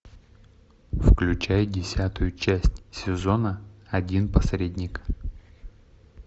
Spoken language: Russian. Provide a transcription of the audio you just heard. включай десятую часть сезона один посредник